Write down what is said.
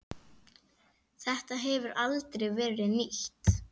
Þetta hefur aldrei verið nýtt.